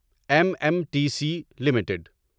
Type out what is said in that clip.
M M T C limited